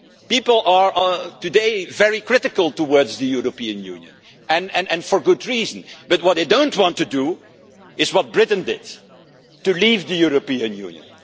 people are today very critical towards the European Union and for good reason but what they don't want to do is what Britain did to leave the European Union.